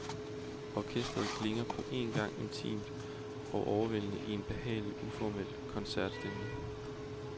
Orkestret klinger på en gang intimt og overvældende i en behagelig, uformel koncertstemning.